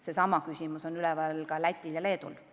Seesama küsimus on üleval ka Lätil ja Leedul.